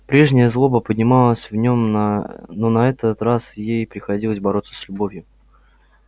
прежняя злоба поднималась в нем но на этот раз ей приходилось бороться с любовью